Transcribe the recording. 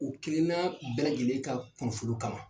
U kelenan bɛɛ lajɛlen ka kunnafoliw kama.